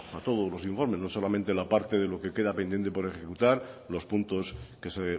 coja todos los informes no solamente la parte de que queda pendiente por ejecutar los puntos que se